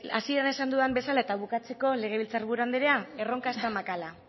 hasieran esan dudan bezala eta bukatzeko legebiltzar buru andrea erronka ez zen makala